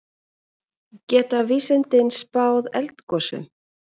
Geta vísindin spáð eldgosum?